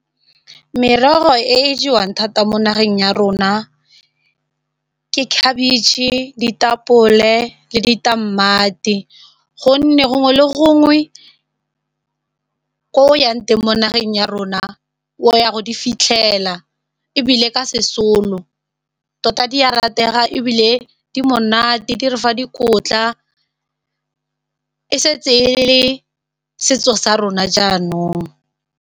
Merogo e e jewang thata mo nageng ya rona ke khabitšhe, ditapole le ditamati gonne gongwe le gongwe ko o yang teng mo nageng ya rona o ya go di fitlhela ebile ka sesolo tota di ya ratega ebile di monate di re fa dikotla e setse e le setso sa rona jaanong.